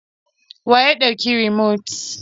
Wa ya ɗauki rumot?